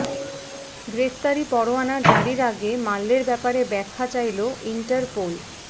গ্রেফতারি পরোয়ানা জারির আগে মাল্যের ব্যাপারে ব্যাখ্যা চাইল ইন্টারপোল